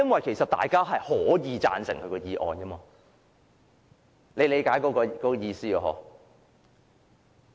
其實大家是可以贊成他的議案的，大家理解我的意思嗎？